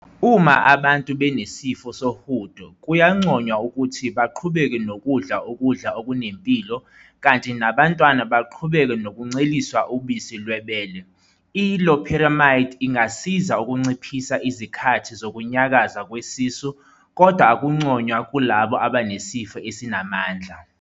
Uma abantu benesifo sohudo kuyanconywa ukuthi baqhubeke nokudla ukudla okunempilo kanti nabantwana baqhubeke nokunceliswa ubisi lwebele. I-loperamide ingasiza ukunciphisa izikhathi zokunyakaza kwesisu kodwa akunconywa kulabo abanesifo esinamandla.